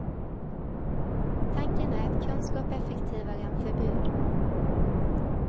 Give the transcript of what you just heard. Tanken är att kunskap är effektivare än förbud.